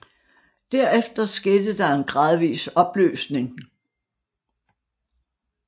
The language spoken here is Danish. Derefter skete der en gradvis opløsning